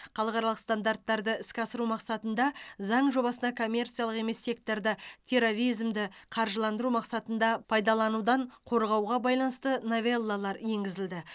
халықаралық стандарттарды іске асыру мақсатында заң жобасына коммерциялық емес секторды терроризмді қаржыландыру мақсатында пайдаланудан қорғауға байланысты новеллалар енгізілді